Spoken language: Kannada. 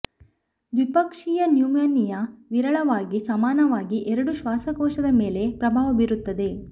ದ್ವಿಪಕ್ಷೀಯ ನ್ಯುಮೋನಿಯಾ ವಿರಳವಾಗಿ ಸಮಾನವಾಗಿ ಎರಡೂ ಶ್ವಾಸಕೋಶದ ಮೇಲೆ ಪ್ರಭಾವ ಬೀರುತ್ತದೆ